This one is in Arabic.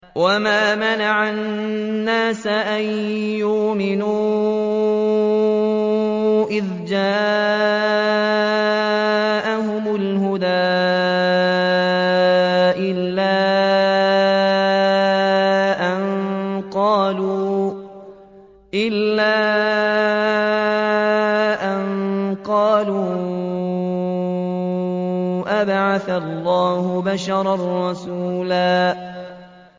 وَمَا مَنَعَ النَّاسَ أَن يُؤْمِنُوا إِذْ جَاءَهُمُ الْهُدَىٰ إِلَّا أَن قَالُوا أَبَعَثَ اللَّهُ بَشَرًا رَّسُولًا